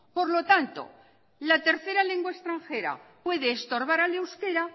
por lo tanto la tercera lengua extranjera puede estorbar al euskera